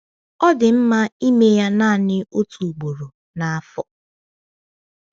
Ọ dị mma ịme ya naanị otu ugboro n’afọ.